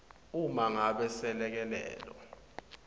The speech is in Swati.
uma ngabe selekelelo